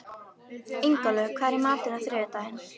Ingólfur, hvað er í matinn á þriðjudaginn?